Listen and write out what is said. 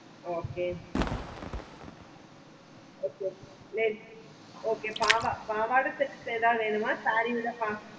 okay okay பாவாடை sets ஏதாவது வேணுமா saree